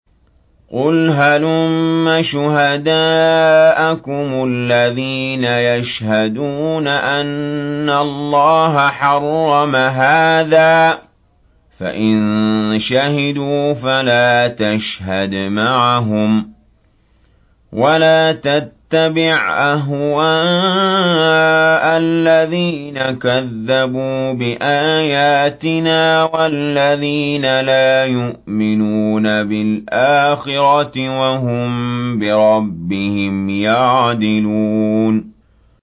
قُلْ هَلُمَّ شُهَدَاءَكُمُ الَّذِينَ يَشْهَدُونَ أَنَّ اللَّهَ حَرَّمَ هَٰذَا ۖ فَإِن شَهِدُوا فَلَا تَشْهَدْ مَعَهُمْ ۚ وَلَا تَتَّبِعْ أَهْوَاءَ الَّذِينَ كَذَّبُوا بِآيَاتِنَا وَالَّذِينَ لَا يُؤْمِنُونَ بِالْآخِرَةِ وَهُم بِرَبِّهِمْ يَعْدِلُونَ